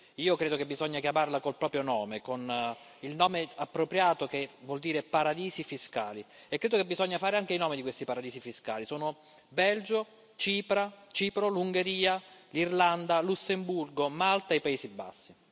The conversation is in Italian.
Io credo che bisogna chiamarla col proprio nome, con il nome appropriato che vuol dire paradisi fiscali, e credo che bisogna fare anche i nomi di questi paradisi fiscali sono Belgio, Cipro, Ungheria, Irlanda, Lussemburgo, Malta e i Paesi Bassi.